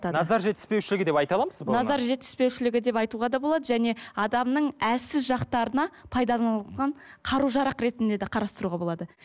назар жетіспеушілігі деп айта аламыз ба назар жетіспеушілгі деп айтуға да болады және адамның әлсіз жақтарына пайдаланылған қару жарақ ретінде де қарастыруға болады